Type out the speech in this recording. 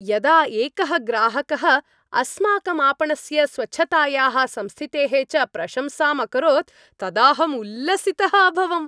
यदा एकः ग्राहकः अस्माकम् आपणस्य स्वच्छतायाः संस्थितेः च प्रशंसाम् अकरोत् तदाहम् उल्लसितः अभवम्।